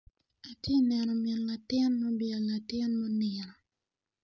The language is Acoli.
Atye neno min latin ma obwelo latin matye nino.